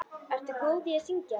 Ertu góð í að syngja?